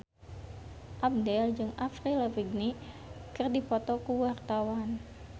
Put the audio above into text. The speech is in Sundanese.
Abdel jeung Avril Lavigne keur dipoto ku wartawan